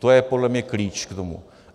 To je podle mě klíč k tomu.